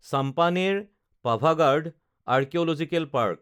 Champaner Pavagadh archaeological park